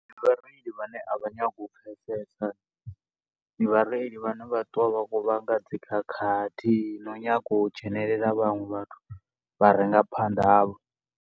Vhareili vhane a vha nyagi u pfesesa ndi vhareili vhane vha ṱuwa vha kho vhanga dzikhakhathi, no nyago u dzhenelela vhaṅwe vhathu vha re nga phanḓa havho.